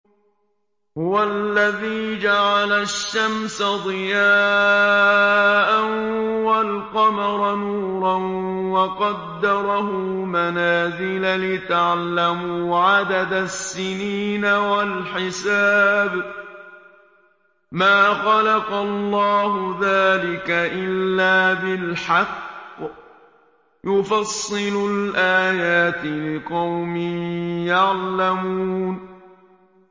هُوَ الَّذِي جَعَلَ الشَّمْسَ ضِيَاءً وَالْقَمَرَ نُورًا وَقَدَّرَهُ مَنَازِلَ لِتَعْلَمُوا عَدَدَ السِّنِينَ وَالْحِسَابَ ۚ مَا خَلَقَ اللَّهُ ذَٰلِكَ إِلَّا بِالْحَقِّ ۚ يُفَصِّلُ الْآيَاتِ لِقَوْمٍ يَعْلَمُونَ